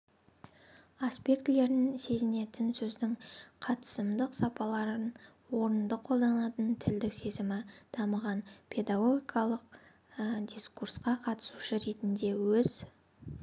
аспектілерін сезінетін сөздің қатысымдық сапаларын орынды қолданатын тілдік сезімі дамыған педагогикалық дискурсқа қатысушы ретінде өз